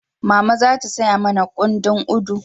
Mama za ta saya mana kundin Udu